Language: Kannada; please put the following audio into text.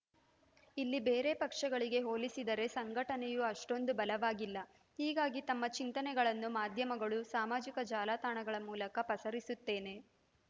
ಇಲ್ಲಿ ಬೇರೆ ಪಕ್ಷಗಳಿಗೆ ಹೋಲಿಸಿದರೆ ಸಂಘಟನೆಯೂ ಅಷ್ಟೊಂದು ಬಲವಾಗಿಲ್ಲ ಹೀಗಾಗಿ ತಮ್ಮ ಚಿಂತನೆಗಳನ್ನು ಮಾಧ್ಯಮಗಳು ಸಾಮಾಜಿಕ ಜಾಲತಾಣಗಳ ಮೂಲಕ ಪಸರಿಸುತ್ತೇನೆ